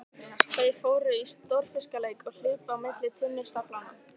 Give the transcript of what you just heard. Þau fóru í stórfiskaleik og hlupu á milli tunnustaflanna.